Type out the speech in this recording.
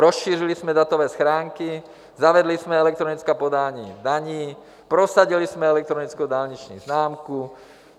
Rozšířili jsme datové schránky, zavedli jsme elektronická podání daní, prosadili jsme elektronickou dálniční známku.